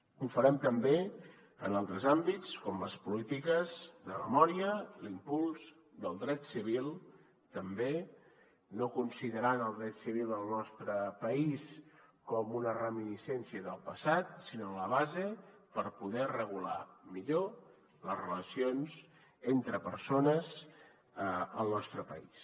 ho farem també en altres àmbits com les polítiques de memòria l’impuls del dret civil també no considerant el dret civil al nostre país com una reminiscència del passat sinó la base per poder regular millor les relacions entre persones al nostre país